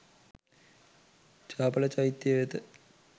චාපල චෛත්‍ය වෙත